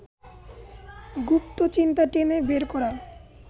গুপ্ত চিন্তা টেনে বের করা